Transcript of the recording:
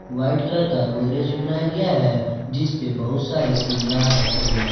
White colour का गोदरेज भी बनाया गया है जिसपे बहुत सारे सिंगर रखे गए हैं।